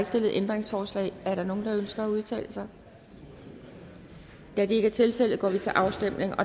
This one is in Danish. stillet ændringsforslag er der nogen der ønsker at udtale sig da det ikke er tilfældet går vi til afstemning